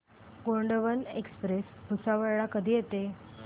Gondwana express Bhusawal ला कधी येते